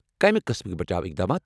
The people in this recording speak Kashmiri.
کمہِ قٕسمٕكۍ بچاو اقدامات ؟